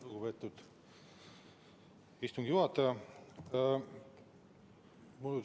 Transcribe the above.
Lugupeetud istungi juhataja!